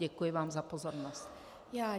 Děkuji vám za pozornost.